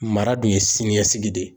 Mara dun ye siniɲɛsigi de ye.